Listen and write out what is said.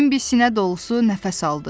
Bembi sinə dolusu nəfəs aldı.